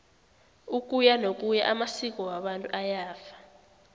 ukuyanokuya amasko wabantu ayafa